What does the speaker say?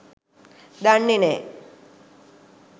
දන්නෙ නෑ..